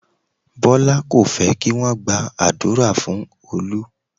Bọlá kò fẹ́ kí wọn gba àdúrà fún Olú